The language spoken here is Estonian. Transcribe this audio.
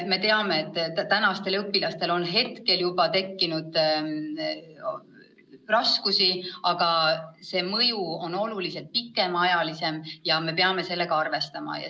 Me teame, et õpilastel on juba praegu tekkinud raskusi, aga see mõju kestab oluliselt kauem, ja me peame sellega arvestama.